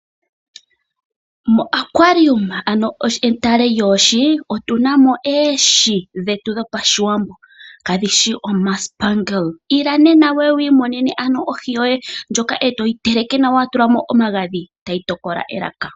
Metale lyoohi otu na mo oohi dhOshiwambo, ano kadhi shi omasipangela. Ila nena wu ye wi monene ohi yoye, e to yi teleke nawa wa tula mo omagadhi tayi tokola elaka.